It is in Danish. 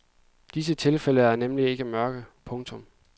Disse tilfælde er nemlig ikke mørke. punktum